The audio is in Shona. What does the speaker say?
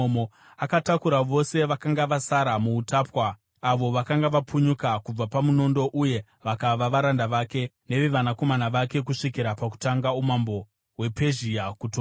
Akatakura vose vakanga vasara muutapwa avo vakanga vapunyuka kubva pamunondo uye vakava varanda vake nevevanakomana vake kusvikira pakutanga umambo hwePezhia kutonga.